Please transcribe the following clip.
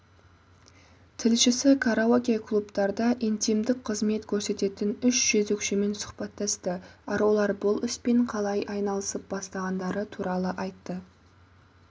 тілшісі караоке-клубтарда интимдік қызмет көрсететін үш жөзекшемен сұхбаттасты арулар бұл іспен қалай айналысып бастағандары туралы айтты